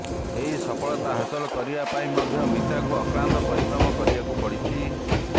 ଏହି ସଫଳତା ହାସଲ କରିବା ପାଇଁ ମଧ୍ୟ ମିତାଙ୍କୁ ଅକ୍ଲାନ୍ତ ପରିଶ୍ରମ କରିବାକୁ ପଡିଛି